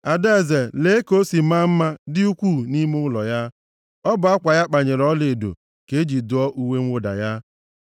Adaeze, lee ka o si maa mma dị ukwuu nʼime ụlọ ya; ọ bụ akwa a kpanyere ọlaedo ka e ji dụọ uwe mwụda ya.